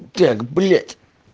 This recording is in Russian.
блять